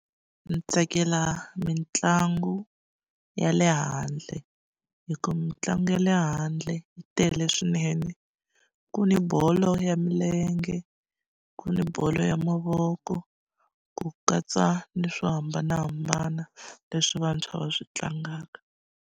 Ndzi tsakela mitlangu ya le handle hi ku mitlangu ya le handle yi tele swinene ku ni bolo ya milenge ku ni bolo ya mavoko ku katsa ni swo hambanahambana leswi vantshwa va swi tlangaka.